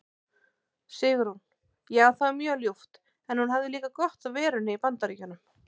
Sigrún: Já það var mjög ljúft en hún hafði líka gott af verunni í BAndaríkjunum.